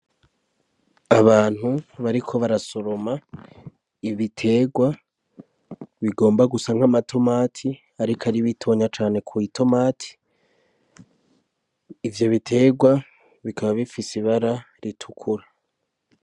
Abantu bariko barasoroma ibiterwa bigomba gusanka amatemati, ariko ari bitonya cane ku itomati ivyo bitegwa bikaba bifise ibara ritukura.